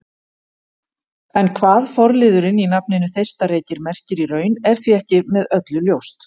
En hvað forliðurinn í nafninu Þeistareykir merkir í raun er því ekki með öllu ljóst.